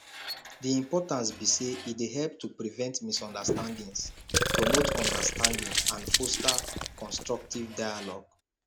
di importance be say e dey help to prevent misunderstandings promote understanding and foster constructive dialogue